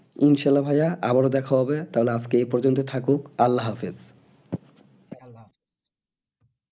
ইনশাল্লা ভাইয়া আবারও দেখা হবে তাহলে আজকে এই পর্যন্তই থাকুক আল্লাহ হাফিজ